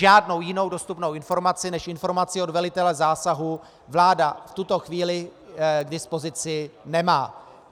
Žádnou jinou dostupnou informaci než informaci od velitele zásahu vláda v tuto chvíli k dispozici nemá.